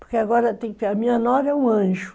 Porque agora tem que... A minha nora é um anjo.